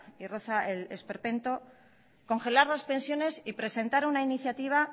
y roza el esperpento congelar las pensiones y presentar una iniciativa